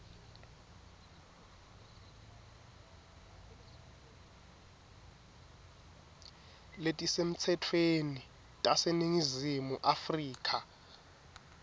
letisemtsetfweni taseningizimu afrika